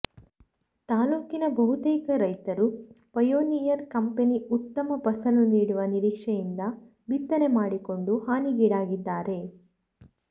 ತಾಲ್ಲೂಕಿನ ಬಹುತೇಕ ರೈತರು ಪಯೋನಿಯರ್ ಕಂಪೆನಿ ಉತ್ತಮ ಫಸಲು ನೀಡುವ ನಿರೀಕ್ಷೆಯಿಂದ ಬಿತ್ತನೆ ಮಾಡಿಕೊಂಡು ಹಾನಿಗೀಡಾಗಿದ್ದಾರೆ